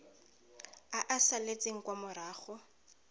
a a salatseng kwa morago